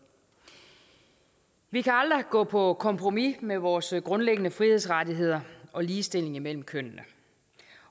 vi kan aldrig gå på kompromis med vores grundlæggende frihedsrettigheder og ligestilling mellem kønnene